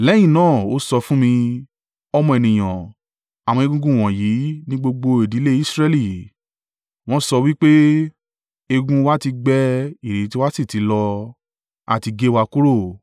Lẹ́yìn náà ó sọ fún mi: “Ọmọ ènìyàn, àwọn egungun wọ̀nyí ni gbogbo ìdílé Israẹli. Wọ́n sọ wí pé, ‘Egungun wa ti gbẹ ìrètí wa sì ti lọ; a ti gé wa kúrò.’